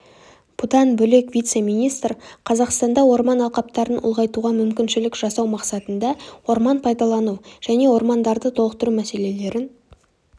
бұдан бөлек вице-министр қазақстанда орман алқаптарын ұлғайтуға мүмкіншілік жасау мақсатында орман пайдалану және ормандарды толықтыру мәселелерін